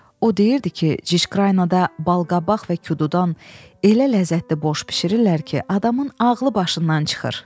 O deyirdi ki, Cikraynada balqabaq və kududan elə ləzzətli borş bişirirlər ki, adamın ağlı başından çıxır.